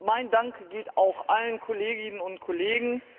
Mein Dank gilt auch allen Kolleginnen und Kollegen.